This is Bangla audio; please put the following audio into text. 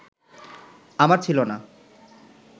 আমার ছিলো না